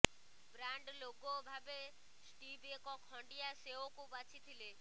brand logo ଭାବେ Steve ଏକ ଖଣ୍ଡିଆ ସେଓକୁ ବାଛିଥିଲେ